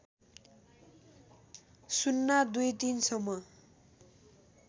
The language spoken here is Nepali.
०२३ सम्म